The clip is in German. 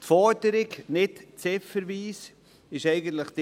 In der Forderung nicht ziffernweise steht,